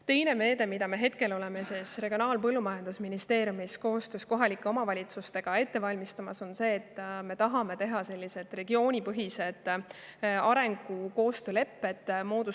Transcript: Teine meede, mida me Regionaal- ja Põllumajandusministeeriumis koostöös kohalike omavalitsustega ette valmistame, on see, et me tahame teha regioonipõhised arengukoostöö lepped.